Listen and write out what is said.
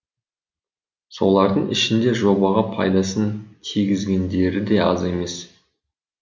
солардың ішінде жобаға пайдасын тигізгендері де аз емес